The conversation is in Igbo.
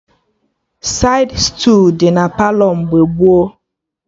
Saịd stuulu dị na Palọ mgbe gboo